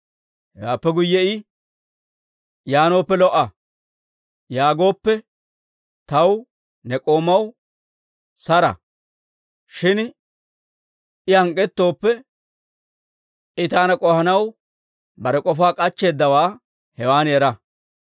Hewaappe guyye I, ‹Yaanooppe lo"a› yaagooppe, taw ne k'oomaw saro; shin I hank'k'ettooppe, I taana k'ohanaw bare k'ofaa k'achcheeddawaa hewan era.